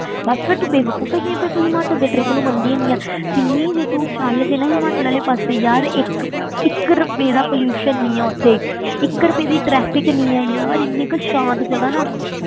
ਬਸ ਫਿਰ ਤੂੰ ਬੇਵਕੂਫ਼ ਹੈਗੀ ਹੈਂ, ਫਿਰ ਤੂੰ ਹਿਮਾਚਲ ਦੇ trip ਨੂੰ ਮੰਨਦੀ ਹੀ ਨੀ ਆਂ ਸਿਮੀ ਜੇ ਤੂੰ ਚੱਲ ਜੇ ਹਿਮਾਚਲ ਵਾਲੇ ਪਾਸੇ ਯਾਰ ਇੱਕ ਇੱਕ ਰੁਪਏ ਦਾ pollution ਨਹੀਂ ਆਂ ਉੱਥੇ ਇੱਕ ਰੁਪਏ ਦੀ traffic ਨਹੀਂ ਆਂ, ਯਾਰ ਇੰਨੀ ਕੁ ਸਾਂਤ ਜਗ੍ਹਾ ਨਾ